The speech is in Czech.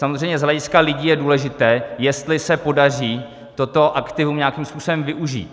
Samozřejmě z hlediska lidí je důležité, jestli se podaří toto aktivum nějakým způsobem využít.